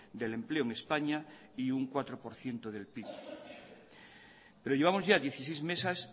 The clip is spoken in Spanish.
del empleo en españa y un cuatro por ciento del pib pero llevamos ya dieciséis meses